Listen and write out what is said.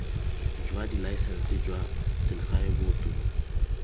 jwa dilaesense jwa selegae boto